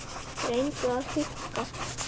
REYNDU AÐ HÚKKA